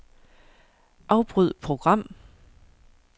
Afbryd program.